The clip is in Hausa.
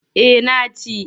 Eh na ci.